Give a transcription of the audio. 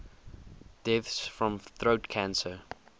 deaths from throat cancer